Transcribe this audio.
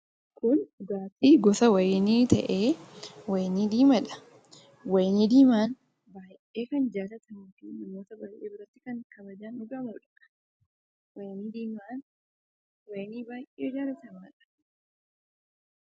Kun dhugaatii gosa wayinii ta'ee, wayinii diimaa dha. Wayinii diimaan baay'ee kan jaallatamuu fi ummata baay'ee biratti kan kabajaan dhugamuu dha. Wayinii diimaan wayinii baay'ee jaallatamaa dha.